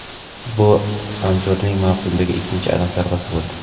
Bu Anzurning mavsumdagi ikkinchi aniq zarbasi bo‘ldi.